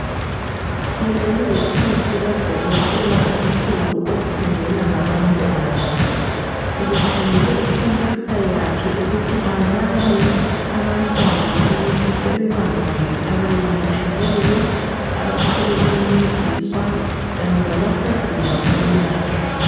Le yihofisa kadokotela omkhulu okhangela ngabantwana, ubekhangele ikhompuyutha yakhe ukuthi abale abantwana ukuthi sebebangaki abayelatshiweyo abathole ukuncediswa kanye labasandinga ukwelatshwa.